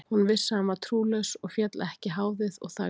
Hún vissi að hann var trúlaus og féll ekki háðið og þagði.